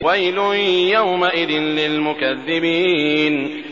وَيْلٌ يَوْمَئِذٍ لِّلْمُكَذِّبِينَ